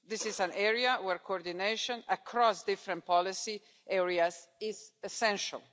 This is an area where coordination across different policy areas is essential.